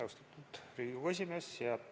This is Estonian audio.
Austatud Riigikogu esimees!